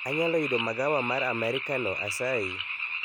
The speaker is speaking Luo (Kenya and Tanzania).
Anyalo yudo magawa mar amerikano asayi